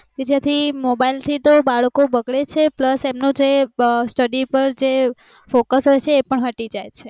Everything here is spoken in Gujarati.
એ જે થી mobile થી તો બાળકો બગડે છે plus એમનું study પર જે focus હોઈ છે એ બગડી જાય છે